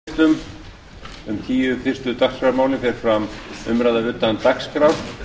að loknum atkvæðagreiðslum um tíu fyrstu dagskrármálin fer fram umræða utan dagskrár